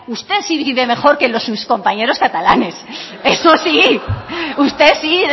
usted sí vive mejor que sus compañeros catalanes eso sí usted sí